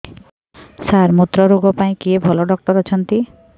ସାର ମୁତ୍ରରୋଗ ପାଇଁ କିଏ ଭଲ ଡକ୍ଟର ଅଛନ୍ତି